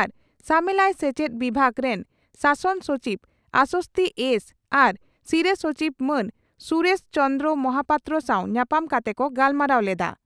ᱟᱨ ᱥᱟᱢᱮᱞᱟᱭ ᱥᱮᱪᱪᱮᱫ ᱵᱤᱵᱷᱟᱜᱽ ᱨᱤᱱ ᱥᱟᱥᱚᱱ ᱥᱚᱪᱤᱵᱽ ᱟᱥᱚᱥᱛᱷᱤ ᱮᱥᱹᱹ ᱟᱨ ᱥᱤᱨᱟᱹ ᱥᱚᱪᱤᱵᱽ ᱢᱟᱱ ᱥᱩᱨᱮᱥ ᱪᱚᱱᱫᱽᱨᱚ ᱢᱟᱦᱟᱯᱟᱛᱨᱚ ᱥᱟᱣ ᱧᱟᱯᱟᱢ ᱠᱟᱛᱮ ᱠᱚ ᱜᱟᱞᱢᱟᱨᱟᱣ ᱞᱮᱫᱼᱟ ᱾